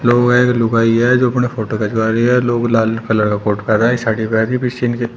ओ एक लुगाई है जो अपनी फोटो खिंचवा रही है लोग लाल कलर का फोटो साड़ी पेहन के पीछे इनके--